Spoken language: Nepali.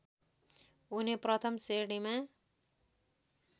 उनी प्रथम श्रेणीमा